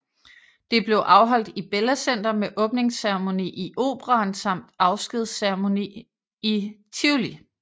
Det blev afholdt i Bella Center med åbningsceremoni i Operaen samt afskedsreception i Tivoli